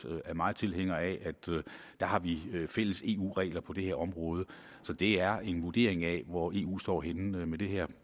er meget tilhængere af har fælles eu regler på det her område så det er en vurdering af hvor eu står henne med det her